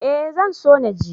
Ee zan so na je.